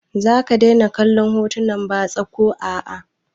Za ka daina kallon hotunan batsa ko a a?